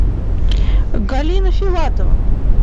галина филатова